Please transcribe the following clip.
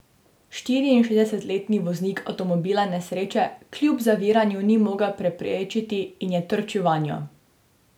Štiriinšestdesetletni voznik avtomobila nesreče kljub zaviranju ni mogel preprečiti in je trčil vanjo.